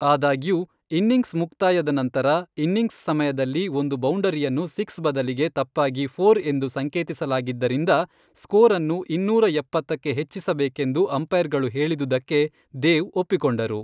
ಆದಾಗ್ಯೂ, ಇನ್ನಿಂಗ್ಸ್ ಮುಕ್ತಾಯದ ನಂತರ, ಇನ್ನಿಂಗ್ಸ್ ಸಮಯದಲ್ಲಿ ಒಂದು ಬೌಂಡರಿಯನ್ನು ಸಿಕ್ಸ್ ಬದಲಿಗೆ ತಪ್ಪಾಗಿ ಫೋರ್ ಎಂದು ಸಂಕೇತಿಸಲಾಗಿದ್ದರಿಂದ ಸ್ಕೋರನ್ನು ಇನ್ನೂರ ಎಪ್ಪತ್ತಕ್ಕೆ ಹೆಚ್ಚಿಸಬೇಕೆಂದು ಅಂಪೈರ್ಗಳು ಹೇಳಿದುದಕ್ಕೆ ದೇವ್ ಒಪ್ಪಿಕೊಂಡರು.